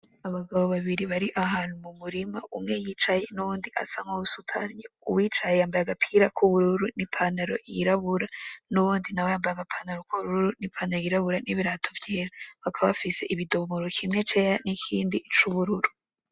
Abagabo babiri bari ahantu mumurima umwe yicaye n' uyundi asa n' uwusutamye, uwicaye yambaye agapira kubururu n' ipantaro yirabura, n' uwundi nawe yambaye agapantaro k'ubururu ni pantaro yirabura n'ibirato vyera; bakaba bafise ibidimoro kimwe cera n'ikindi c'ubururu.